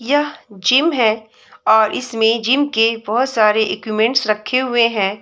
यह जिम है और इसमे जिम के बहुत सारे इक्विमेंट्स रखे हुए है।